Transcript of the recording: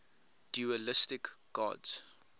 dualistic gods